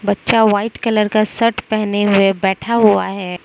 बच्चा white colour का shirt पहने हुए बैठा हुआ है।